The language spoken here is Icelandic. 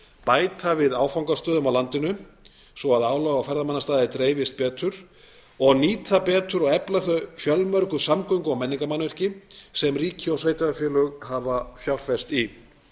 bæta við áfangastöðum á landinu svo að álag á ferðamannastaði dreifist betur og nýta betur og efla öll þau fjölmörgu samgöngu og menningarmannvirki sem ríki og sveitarfélög hafa fjárfest í